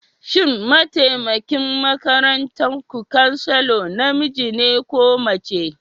Shin mataimakin makarantar ku Chancellor namiji ne ko mace?